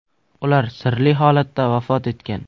Ular sirli holatda vafot etgan.